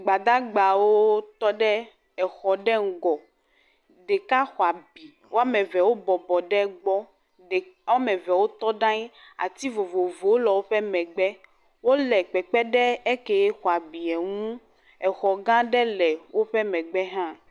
Gbadagbawo tɔ ɖe exɔ ɖe ŋgɔ, ɖeka xɔ abi, woame eve wobɔbɔ ɖe gbɔ, ɖe.. woame eve wotɔ ɖe aŋi, ati vovovowo le woƒe megbe, wole kpekpe ɖe eke xexɔ abie ŋu, exɔ gã aɖe le woƒe megbe hã.